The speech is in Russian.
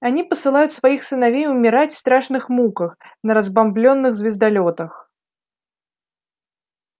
они посылают своих сыновей умирать в страшных муках на разбомблённых звездолётах